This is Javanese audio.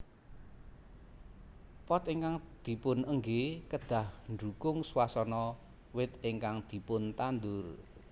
Pot ingkang dipunenggé kedah ndukung swasana wit ingkang dipuntandur